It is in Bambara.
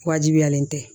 Wajibiyalen tɛ